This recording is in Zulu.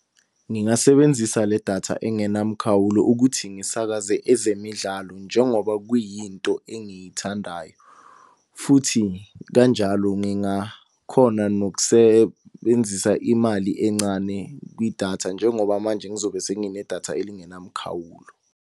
Ngingasebenzisa le datha engenamkhawulo ukuthi ngisakaze ezemidlalo njengoba kuyinto engiyithandayo. Futhi kanjalo ngingakhona nokusebenzisa imali encane kwidatha njengoba manje ngizobe senginedatha elingenamkhawulo.